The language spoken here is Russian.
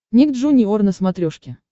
ник джуниор на смотрешке